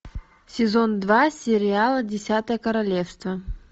сезон два сериала десятое королевство